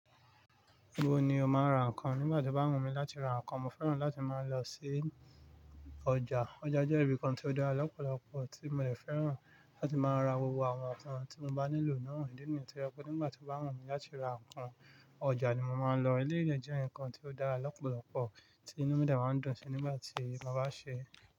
Báwo ni o máa ń ra nǹkan? Nígbà tí o bá wù mí láti ra nǹkan, mo fẹ́ràn láti máa lọ sí ọjà. Ọjà jẹ́ ibi kan tí ó dáa lọ́pọ̀lọpọ̀, tí mo de fẹ́ràn láti máa ra gbogbo àwọn nǹkan tí mo bá nílò náà. Ídí ni yìí, tí ẹ kó nígbà tí o bá wù mí láti ra nǹkan, ọjà ni mo máa lọ. Jẹ́ nǹkan tí ó dáa lọ́pọ̀lọpọ̀, tí nu mí dẹ̀ waa ń dùn sí nígbà tí mo bá ṣe.